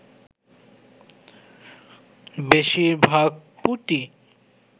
বেশির ভাগ পুঁটি